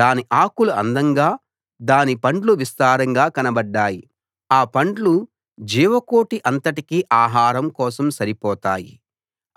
దాని ఆకులు అందంగా దాని పండ్లు విస్తారంగా కనబడ్డాయి ఆ పండ్లు జీవకోటి అంతటికీ ఆహారం కోసం సరిపోతాయి